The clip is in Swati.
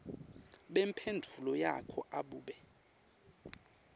bemphendvulo yakho abube